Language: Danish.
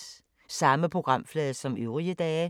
Samme programflade som øvrige dage